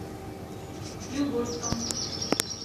югорском